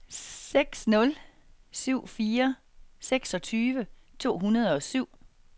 seks nul syv fire seksogtyve to hundrede og syv